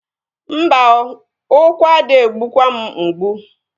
Mba oo, ụkwụ ade egbukwa m mgbu